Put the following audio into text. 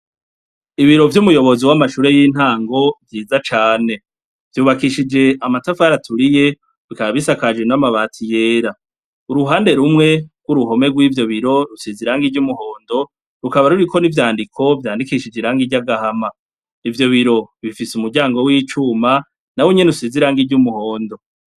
Ibiro vyumuyobozi wamashure yintango vyiza cane vyubakishije amatafari aturiye bikaba bisakajwe namabati yera uruhande rumwe guruhome rwivylbiro rusize irangi ryumuhondo rulaba ruriko nivyandiko bisizwe irangi ryagahama ivyo biro bifise umuryango wicuma bnwonyene usize irangi ryumuhondo